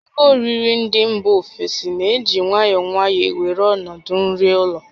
Ihe oriri ndị mba ofesi na-eji nwayọọ nwayọọ na-ewere ọnọdụ nri ụlọ